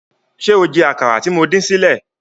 Ṣé o jẹ àkàrà tí mo dín sílẹ̀?